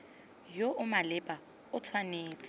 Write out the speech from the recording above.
yo o maleba o tshwanetse